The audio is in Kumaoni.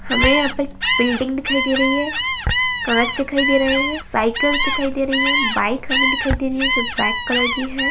हमें यहाँ पर एक बिल्डिंग दिखाई दे रही है कांच दिखाई दे रहे हैं साइकिल दिखाई दे रही है बाइक हमे दिखाई दे रही है जो ब्लैक कलर की है।